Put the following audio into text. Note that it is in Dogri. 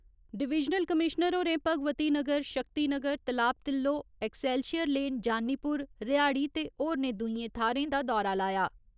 डवीजनल कमीश्नर होरें भगवती नगर, शक्ति नगर, तलाब तिल्लो, ऐक्सैल्शियर लेन, जानीपुर, रिहाड़ी ते होरने दुईयें थाह्‌रें दा दौरा लाया।